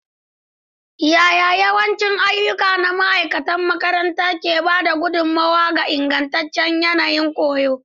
Yaya yawancin ayyuka na ma'aikatan makaranta ke ba da gudummawa ga ingantaccen yanayin koyo?